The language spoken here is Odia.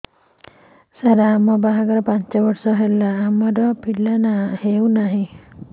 ସାର ଆମ ବାହା ଘର ପାଞ୍ଚ ବର୍ଷ ହେଲା ଆମର ପିଲା ହେଉନାହିଁ